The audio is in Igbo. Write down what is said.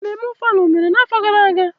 Ememme ofala mere n'afọ gara aga?